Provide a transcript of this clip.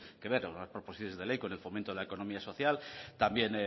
que ver unas proposiciones de ley con el fomento de la economía social también